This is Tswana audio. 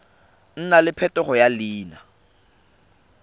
nna le phetogo ya leina